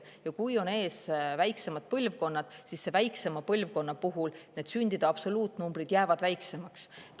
Ja kui on ees väiksemad põlvkonnad, siis väiksema põlvkonna puhul sündide absoluutnumbrid jäävad väiksemaks.